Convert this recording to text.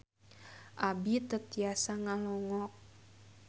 Abi teu tiasa ngalongok